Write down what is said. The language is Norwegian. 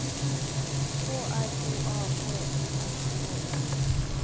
K R O A T I S K E